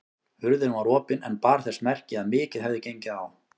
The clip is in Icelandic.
Hurðin var opin en bar þess merki að mikið hefði gengið á.